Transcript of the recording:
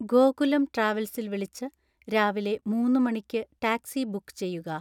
ഗോകുലം ട്രാവൽസിൽ വിളിച്ച് രാവിലെ മൂന്ന് മണിക്ക് ടാക്സി ബുക്ക് ചെയ്യുക